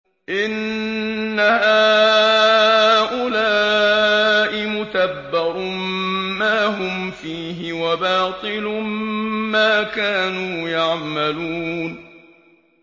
إِنَّ هَٰؤُلَاءِ مُتَبَّرٌ مَّا هُمْ فِيهِ وَبَاطِلٌ مَّا كَانُوا يَعْمَلُونَ